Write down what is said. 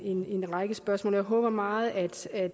en en række spørgsmål jeg håber meget at